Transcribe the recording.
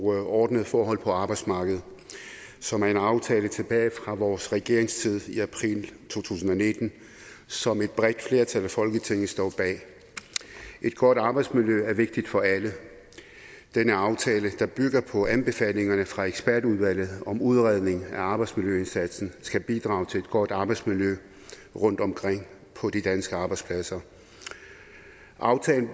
ordnede forhold på arbejdsmarkedet som er en aftale tilbage fra vores regeringstid i april to tusind og nitten som et bredt flertal i folketinget står bag et godt arbejdsmiljø er vigtigt for alle denne aftale der bygger på anbefalingerne fra ekspertudvalget om udredning af arbejdsmiljøindsatsen skal bidrage til et godt arbejdsmiljø rundt omkring på de danske arbejdspladser aftalen